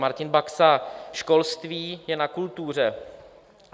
Martin Baxa - školství, je na kultuře.